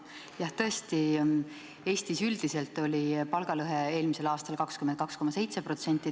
Jah, tõesti, Eestis üldiselt oli palgalõhe eelmisel aastal 22,7%.